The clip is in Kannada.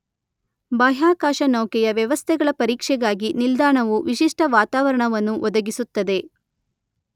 ಬಾಹ್ಯಾಕಾಶ ನೌಕೆಯ ವ್ಯವಸ್ಥೆಗಳ ಪರೀಕ್ಷೆಗಾಗಿ ನಿಲ್ದಾಣವು ವಿಶಿಷ್ಟ ವಾತಾವರಣವನ್ನು ಒದಗಿಸುತ್ತದೆ.